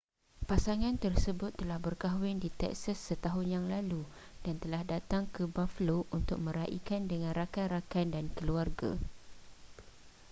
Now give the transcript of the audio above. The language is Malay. pasangan tersebut telah berkahwin di texas setahun yang lalu dan telah datang ke buffalo untuk meraikan dengan rakan-rakan dan keluarga